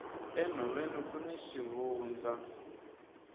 enhoveni kuni swivandzani